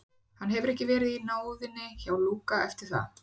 Hann hefur ekki verið í náðinni hjá Lúka eftir það.